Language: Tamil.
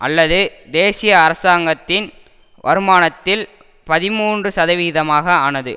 அல்லது தேசிய அரசாங்கத்தின் வருமானத்தில் பதிமூன்று சதவிகிதமாக ஆனது